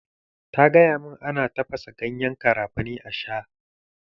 Ta gaya min ana tafasa ganyen garafuni a sha.